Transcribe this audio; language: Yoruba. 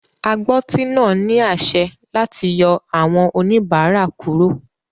Agbọ́tí náà ní àṣẹ láti yọ àwọn oníbàárà kúrò.